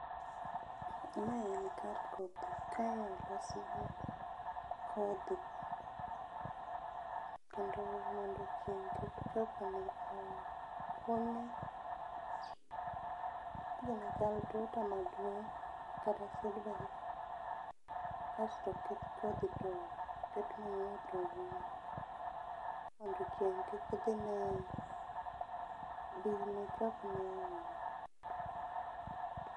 Mae en kar kodhi, kae olosi gi kodhi kendo mondo chieng kik chopne. Gini chal tuta maduong kata kasto oket kodhi toket manyiwa to oum mondo chieng kik dhine, din ne chopne ahinya